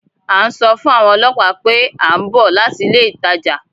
À ń sọ fún àwọn ọlọ́pàá pé à ń bọ̀ láti ilé ìtajà